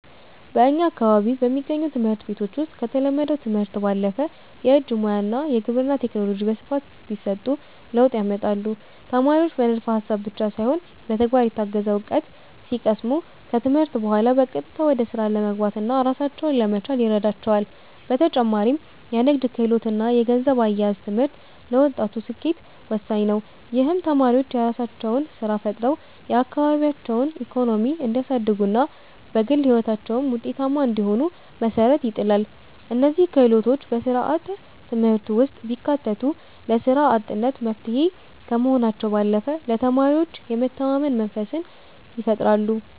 በእኛ አካባቢ በሚገኙ ትምህርት ቤቶች ውስጥ ከተለመደው ትምህርት ባለፈ የእጅ ሙያ እና የግብርና ቴክኖሎጂ በስፋት ቢሰጡ ለውጥ ያመጣሉ። ተማሪዎች በንድፈ ሃሳብ ብቻ ሳይሆን በተግባር የታገዘ እውቀት ሲቀስሙ፣ ከትምህርት በኋላ በቀጥታ ወደ ስራ ለመግባትና ራሳቸውን ለመቻል ይረዳቸዋል። በተጨማሪም የንግድ ክህሎት እና የገንዘብ አያያዝ ትምህርት ለወጣቱ ስኬት ወሳኝ ነው። ይህም ተማሪዎች የራሳቸውን ስራ ፈጥረው የአካባቢያቸውን ኢኮኖሚ እንዲያሳድጉና በግል ህይወታቸውም ውጤታማ እንዲሆኑ መሰረት ይጥላል። እነዚህ ክህሎቶች በስርዓተ ትምህርቱ ውስጥ ቢካተቱ ለስራ አጥነት መፍትሄ ከመሆናቸው ባለፈ ለተማሪዎች የመተማመን መንፈስን ይፈጥራሉ።